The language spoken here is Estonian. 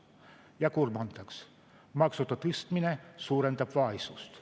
Ja kolmandaks, maksude tõstmine suurendab vaesust.